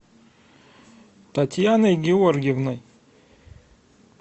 татьяной георгиевной